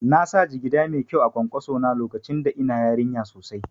Nasa jigida mai kyau a kwankwaso na lokacin da ina yarinya sosai